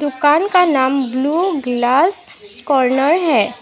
दुकान का नाम ब्लू ग्लास कॉर्नर है।